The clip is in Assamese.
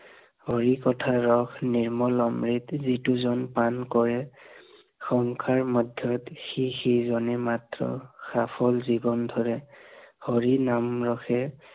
হৰি কথা ৰস নিৰ্মল অমৃত, যিটো জন পান কৰে, সংসাৰ মধ্য়ত সি সি জনে মাত্ৰ সফল জীৱন ধৰে, হৰি নাম ৰসে